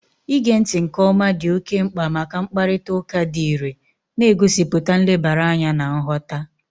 Ige ntị nke ọma dị oke mkpa maka mkparịta ụka dị irè, na-egosipụta nlebara anya na nghọta